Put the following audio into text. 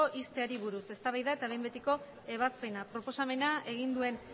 ixteari buruz eztabaida eta behin betiko ebazpena proposamena egin duen